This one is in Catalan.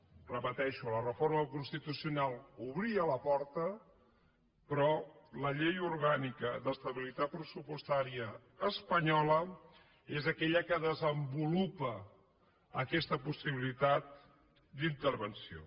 ho repeteixo la reforma constitucional obria la porta però la llei orgànica d’estabilitat pressupostària espanyola és aquella que desenvolupa aquesta possibilitat d’intervenció